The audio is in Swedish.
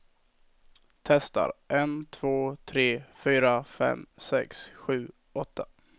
Testar en två tre fyra fem sex sju åtta.